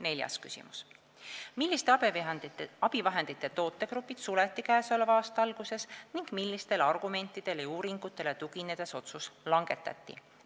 Neljas küsimus: "Milliste abivahendite tootegrupid suleti käesoleva aasta alguses ning millistele argumentidele ja uuringutele tuginedes otsus langetati?